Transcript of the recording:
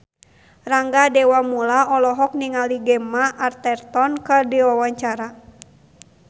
Rangga Dewamoela olohok ningali Gemma Arterton keur diwawancara